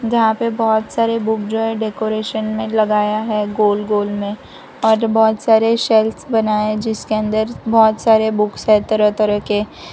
यहां पे बहुत सारे बुक जो है डेकोरेशन में लगाया है गोल गोल में और बहुत सारे शेल्व्स बनाए जिसके अंदर बहुत सारे बुक्स है तरह तरह के।